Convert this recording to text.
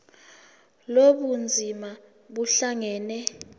lobu bunzima buhlangane